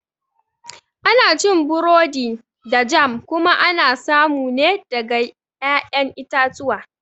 Ana cin burodi da jam kuma ana samu ne daga ƴaƴan itatuwa